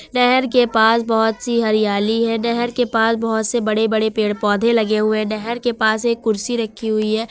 नहेर के पास बहोत सी हरियाली है नहेर के पास बहोत से बड़े बड़े पेड़ पौधे लगे हुए नहेर के पास एक कुर्सी रखी हुई है।